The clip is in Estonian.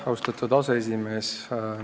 Austatud aseesimees!